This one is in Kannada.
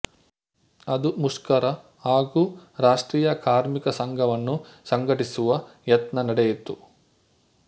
ಅದು ಮುಷ್ಕರ ಹಾಗೂ ರಾಷ್ಟ್ರೀಯ ಕಾರ್ಮಿಕ ಸಂಘವನ್ನು ಸಂಘಟಿಸುವ ಯತ್ನ ನಡೆಯಿತು